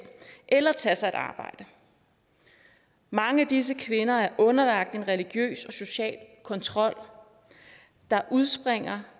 eller tage sig et arbejde mange af disse kvinder er underlagt en religiøs og social kontrol der udspringer